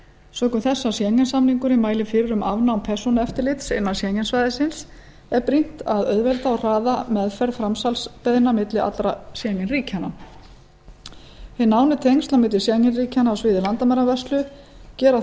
sökum þess að schengen samningurinn mælir fyrir um afnám persónueftirlits innan schengen svæðisins er brýnt að auðvelda og hraða meðferð framsalsbeiðna milli allra schengen ríkjanna hin nánu tengsl schengen ríkjanna á sviði landamæravörslu gera